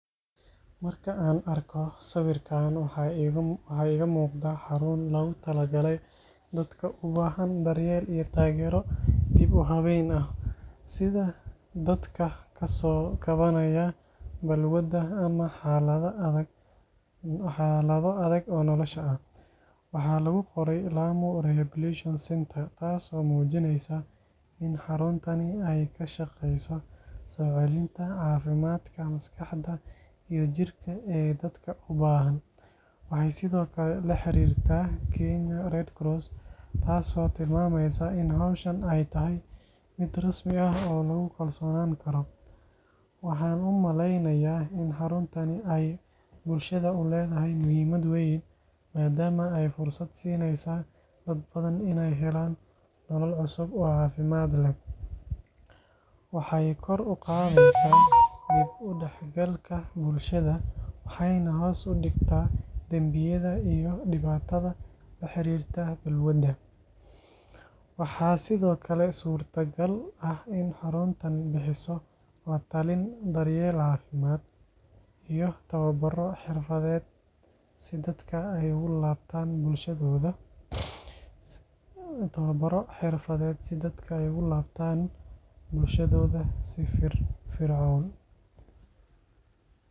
Marka aan arko sawirkan, waxa iiga muuqda xarun loogu talagalay dadka u baahan daryeel iyo taageero dib--habeyn ah, sida dadka ka soo kabanaya balwadda ama xaalado adag oo nolosha ah. Waxaa lagu qoray Lamu Rehabilitation Centre", taas oo muujinaysa in xaruntani ay ka shaqeyso soo celinta caafimaadka maskaxda iyo jirka ee dadka u baahan. Waxay sidoo kale la xiriirtaa Kenya Red Cross, taasoo tilmaamaysa in hawshan ay tahay mid rasmi ah oo lagu kalsoonaan karo. Waxaan u maleynayaa in xaruntani ay bulshada u leedahay muhiimad weyn, maadaama ay fursad siinayso dad badan inay helaan nolol cusub oo caafimaad leh. Waxay kor u qaadaysaa dib-u-dhexgalka bulshada, waxayna hoos u dhigtaa dambiyada iyo dhibaatada la xiriirta balwadda. Waxaa sidoo kale suurtagal ah in xaruntani bixiso la-talin, daryeel caafimaad, iyo tababaro xirfadeed si dadka ay ugu laabtaan bulshadooda si firfircoon.